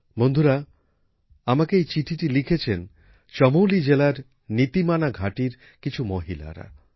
বন্ধুরা আমাকে এই চিঠিটা লিখেছেন চমোলী জেলার নীতিমানা ঘাঁটির কিছু মহিলারা